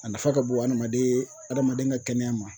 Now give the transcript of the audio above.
A nafa ka bon adamaden adamaden ka kɛnɛya ma